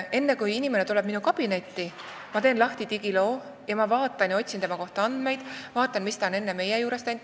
Enne, kui inimene tuleb minu kabinetti, ma teen lahti digiloo, otsin tema kohta andmeid ja vaatan, miks ta on enne meie juures käinud.